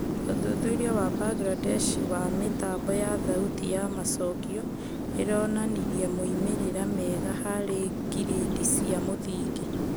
ũthuthuria wa Mbangirandesh wa mĩtambo ya thauti ya macokio ĩronanirie moimĩrĩra mega harĩ ngirĩndi cia mũthingi